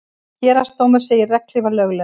Héraðsdómur segir regnhlífar löglegar